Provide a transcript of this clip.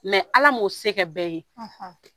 ala m'o se kɛ bɛɛ ye